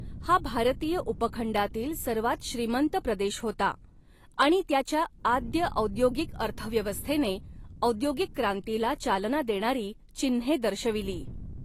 हा भारतीय उपखंडातील सर्वात श्रीमंत प्रदेश होता आणि त्याच्या आद्य औद्योगिक अर्थव्यवस्थेने औद्योगिक क्रांतीला चालना देणारी चिन्हे दर्शविली.